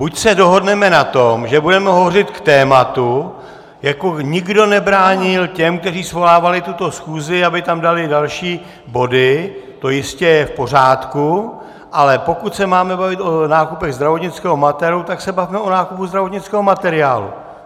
Buď se dohodneme na tom, že budeme hovořit k tématu, jako nikdo nebránil těm, kteří svolávali tuto schůzi, aby tam dali další body, to jistě je v pořádku, ale pokud se máme bavit o nákupech zdravotnického materiálu, tak se bavme o nákupu zdravotnického materiálu.